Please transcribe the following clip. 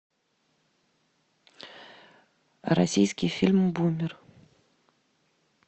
российский фильм бумер